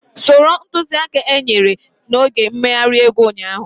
Soro ntuziaka ahu enyere n'oge mmeghari egwu ụnyaahụ